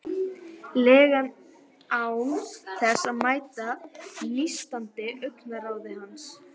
lega án þess að mæta nístandi augnaráði hans.